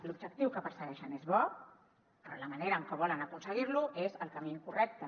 l’objectiu que persegueixen és bo però la manera en que volen aconseguir lo és el camí incorrecte